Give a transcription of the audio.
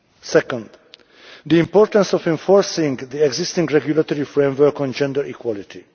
Second the importance of enforcing the existing regulatory framework on gender equality.